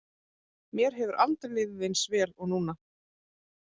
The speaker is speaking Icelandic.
Mér hefur aldrei liðið eins vel og núna.